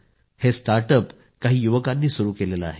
हे स्टार्टअप काही युवकांनी सुरू केलं आहे